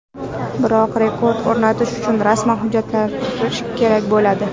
Biroq rekord o‘rnatish uchun rasman hujjatlashtirish kerak bo‘ladi.